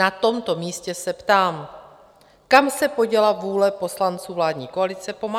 Na tomto místě se ptám - kam se poděla vůle poslanců vládní koalice pomáhat?